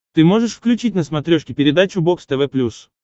ты можешь включить на смотрешке передачу бокс тв плюс